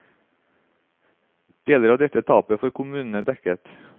Deler av dette tapet får kommunene dekket.